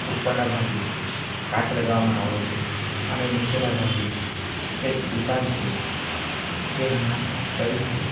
ઉપરના ભાગે કાચ લગાવવામાં આવેલું છે અને નીચેના ભાગે એક દુકાન છે જે હમણાં બંધ છે.